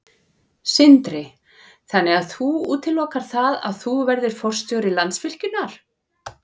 Sindri: Þannig að þú útilokar það að þú verðir forstjóri Landsvirkjunar?